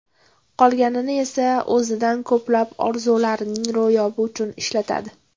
Qolganini esa o‘zining ko‘plab orzularining ro‘yobi uchun ishlatadi.